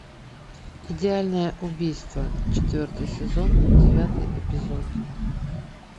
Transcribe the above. идеальное убийство четвертый сезон девятый эпизод